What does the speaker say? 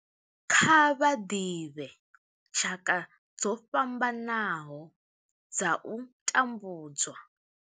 Kha vha ḓivhe tshaka dzo fhambanaho dza u tambudzwa.